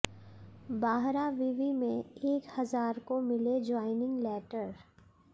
बाहरा विवि में एक हजार को मिले ज्वाइनिंग लैटर